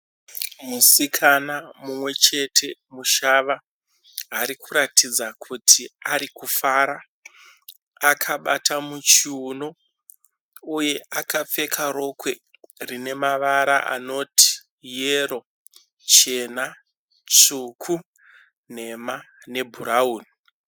Musikana mumwe chete mushava ari kuratidza kuti ari kufara. Akabata muchiuno uye akapfeka rokwe rine mavara anoti yero, chena, tsvuku, nhema nebhurawuni.